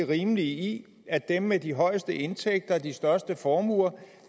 rimelige i at dem med de højeste indtægter og de største formuer